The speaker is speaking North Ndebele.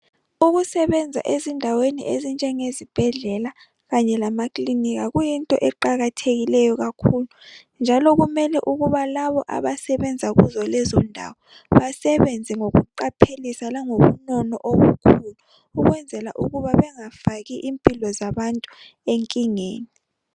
ukusebenza ezindaweni ezinjengezibhedlela kanye lamakilinika kuyinto eqakathekileyo kakhulu njalo kumele ukuba labo abasebenza kuzolezondawo basebenze ngokuqaphelisa langobunono obukhulu ukwenzela ukuba bengafaki impilo zabantu enkingeni